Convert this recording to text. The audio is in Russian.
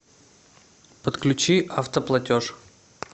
подключи автоплатеж